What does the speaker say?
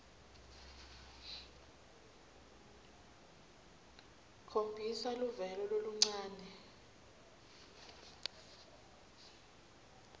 khombisa luvelo loluncane